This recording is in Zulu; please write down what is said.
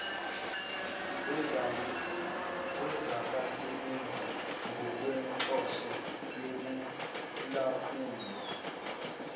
wezabasebenzi ngokwenhloso yokulawulwa